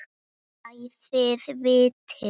Æ, þið vitið.